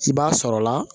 I b'a sɔrɔla